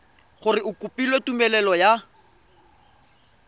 gore o kopile tumelelo ya